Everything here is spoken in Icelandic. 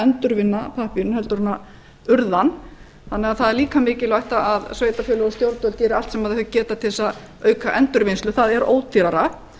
endurvinna pappírinn heldur en urða hann þannig að það er líka mikilvægt að sveitarfélög og stjórnvöld gera allt sem þau geta til þess að auka endurvinnslu það er ódýrara